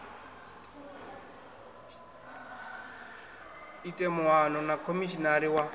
ite muano na khomishinari wa